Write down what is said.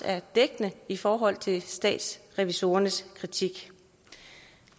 er dækkende i forhold til statsrevisorernes kritik